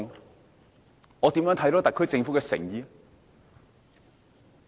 如何展現特區政府的誠意？